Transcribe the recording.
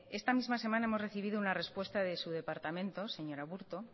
esta misma semana hemos recibido una respuesta de su departamento señor aburto